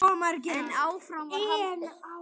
En áfram var haldið.